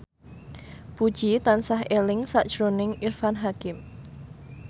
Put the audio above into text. Puji tansah eling sakjroning Irfan Hakim